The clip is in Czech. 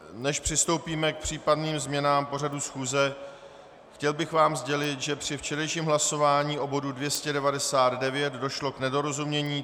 Než přistoupíme k případným změnám pořadu schůze, chtěl bych vám sdělit, že při včerejším hlasování u bodu 299 došlo k nedorozumění.